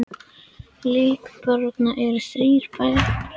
Í hópi líkberanna eru þrír bræður